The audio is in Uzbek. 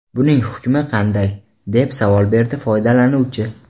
Buning hukmi qanday?” deb savol berdi foydalanuvchi.